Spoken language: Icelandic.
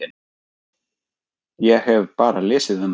Ég hef bara lesið um það.